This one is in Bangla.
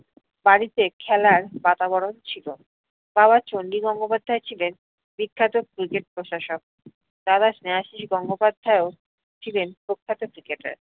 বাড়িতে খেলার বাতাবরণ ছিল, বাবা চণ্ডী গঙ্গোপাধ্যায় বিখ্যাত cricket প্রশাসক, দাদা স্নেহাশিস গঙ্গোপাধ্যায়ও ছিলেন প্রখ্যাত cricketer ।